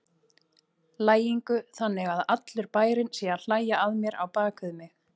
lægingu, þannig að allur bærinn sé að hlæja að mér á bak við mig.